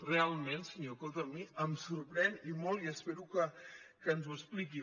realment senyor coto a mi em sorprèn i molt i espero que ens ho expliqui